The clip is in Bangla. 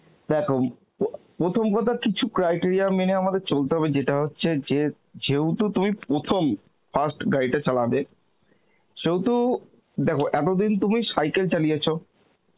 দেখো প্রথম কথা কিছু criteria মেনে আমাদের চলতে হবে যেটা হচ্ছে যে, যেহেতু তুমি প্রথম first গাড়িটা চালাবে, সেহেতু, দেখো এতদিন তুমি cycle চালিয়েছো